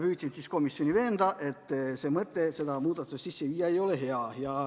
Püüdsin komisjoni veenda, et mõte seda muudatust sisse viia ei ole hea.